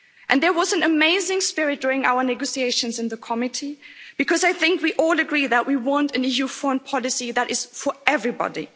There was an amazing spirit during our negotiations in the committee because I think we all agree that we want an EU foreign policy that is for everybody.